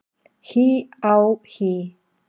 HÍ á HÍ!